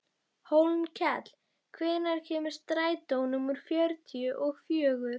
Hólmkell, hvenær kemur strætó númer fjörutíu og fjögur?